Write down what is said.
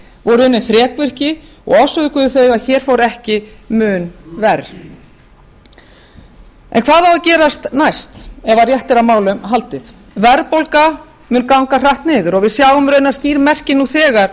voru unnin þrekvirki og orsökuðu þau að hér fór ekki mun verr hvað á að gerast næst ef rétt er á málum haldið verðbólga mun ganga hratt niður og við sjáum raunar skýr merki nú þegar